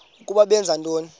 ukuba benza ntoni